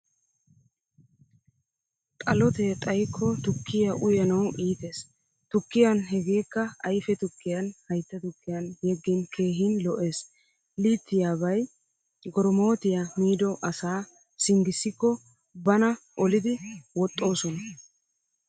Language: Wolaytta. Xalotte xayikko tukkiyaa uyanawu iittees. Tukkiyan hegekka ayfe tukkiyan haytta tukkiyan yegin keehin lo'ees. Iittiyabay goromotiyaa miido asa singisiko banaa olidi woxoosona.